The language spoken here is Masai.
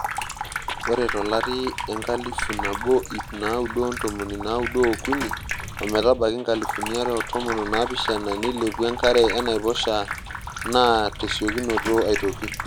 Ore tolari enkalifu nabo iip naaudo ontomoni naaudo oukini ometabaiki nkalifuni are o tomon onaapishan neilepua enakare enaiposha naa tesiokinoto aitoki.